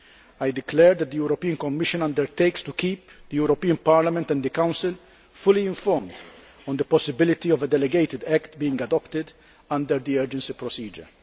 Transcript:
I declare that the European Commission undertakes to keep the European Parliament and the Council fully informed on the possibility of a delegated act being adopted under the urgency procedure.